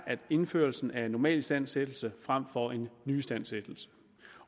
indførelsen af en normalistandsættelse frem for en nyistandsættelse